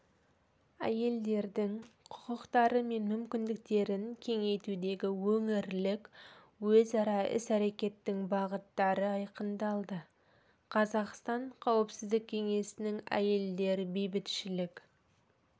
әйелдердің құқықтары мен мүмкіндіктерін кеңейтудегі өңірлік өзара іс-әрекеттің бағыттары айқындалды қазақстан қауіпсіздік кеңесінің әйелдер бейбітшілік